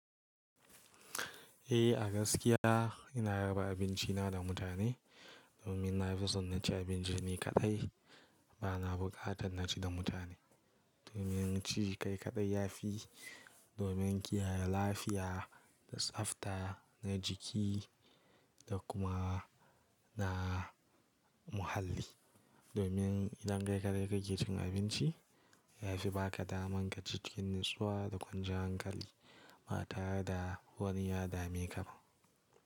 Eh a gaskiya ina raba abinci na da mutane domin na fi son na ci abinci ne kaɗai. Ba na buƙatar na ci da mutane. Domin ci kai kaɗai ya fi domin kiyaye lafiya da tsafta na jiki da kuma na muhalli. Domin idan kai kaɗai kake cin abinci ya fi baka daman ka ci cikin natsuwa da ƙwanciyan hankali ba tare da wani ya dame ka ba.